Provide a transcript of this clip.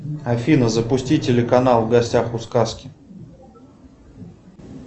афина запусти телеканал в гостях у сказки